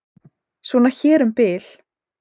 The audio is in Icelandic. Svona hér um bil.